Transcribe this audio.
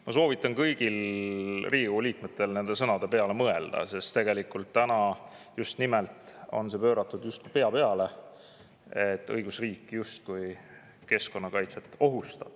Ma soovitan kõigil Riigikogu liikmetel nende sõnade peale mõelda, sest nüüd on see tegelikult pööratud just pea peale: õigusriik justkui ohustaks keskkonnakaitset.